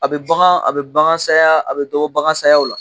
A bɛ bagan a bɛ bagan saya a bɛ dɔ bɔ bagan sayaw la.